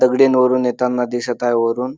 दगडीन वरून येताना दिसत आहे वरून.